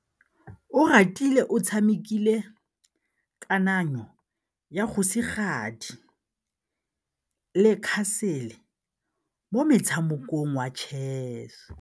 Oratile o tshamekile kananyô ya kgosigadi le khasêlê mo motshamekong wa chess.